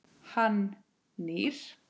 Hann nýr.